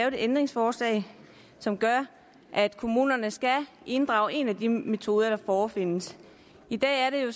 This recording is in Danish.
et ændringsforslag som gør at kommunerne skal inddrage en af de metoder der forefindes i dag er det jo